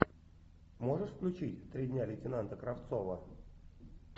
можешь включить три дня лейтенанта кравцова